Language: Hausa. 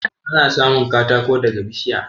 Ana samun katako daga bishiya